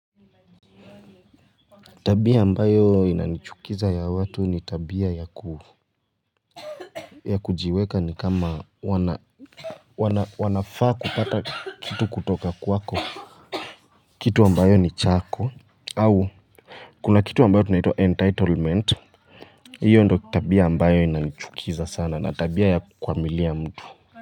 Tabia ambayo inanichukiza ya watu ni tabia ya kujiweka ni kama wanafaa kupata kitu kutoka kwako kitu ambayo ni chako au kuna kitu ambayo tunaita entitlement hiyo ndo tabia ambayo inanichukiza sana na tabia ya kukwamilia mtu.